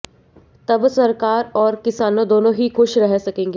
तब सरकार और किसानों दोनों ही खुश रह सकेंगे